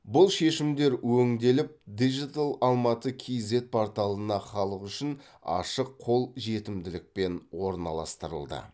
бұл шешімдер өңделіп дижитал алматы кейзэт порталына халық үшін ашық қол жетімділікпен орналастырылды